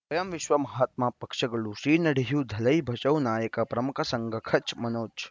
ಸ್ವಯಂ ವಿಶ್ವ ಮಹಾತ್ಮ ಪಕ್ಷಗಳು ಶ್ರೀ ನಡೆಯೂ ದಲೈ ಬಚೌ ನಾಯಕ ಪ್ರಮುಖ ಸಂಘ ಕಚ್ ಮನೋಜ್